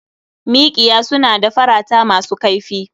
Miƙiya suna da farata masu kaifi.